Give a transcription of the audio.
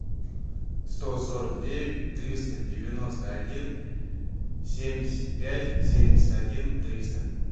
сто сорок девять триста девяносто один семьдесят пять семьдесят один триста